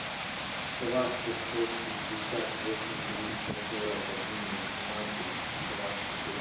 два пятьсот шестьдесят восемь триста сорок один восемнадцать двадцать один